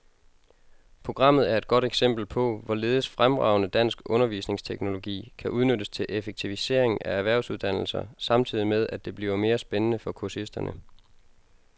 Programmet er et godt eksempel på, hvorledes fremragende dansk undervisningsteknologi kan udnyttes til effektivisering af erhvervsuddannelser samtidig med, at det bliver mere spændende for kursisterne.